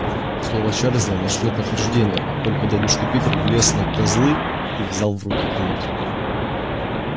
слова чарлза нашли подтверждение как только дядюшка питер влез на козлы и взял в руки кнут